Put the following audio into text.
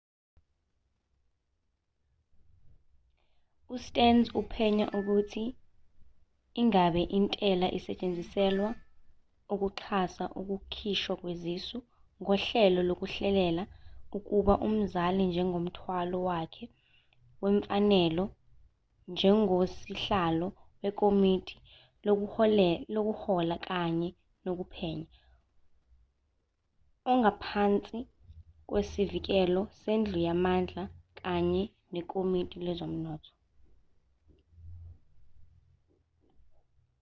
ustearns uphenya ukuthi ingabe intela isetshenziselwa ukuxhasa ukukhishwa kwezisu ngohlelo lokuhlelela ukuba umzali njengomthwalo wakhe wemfanelo njengosihlalo wekomiti lokuhola kanye nokuphenya okungaphansi kwesivikelo sendlu yamandla kanye nekomiti lezomnotho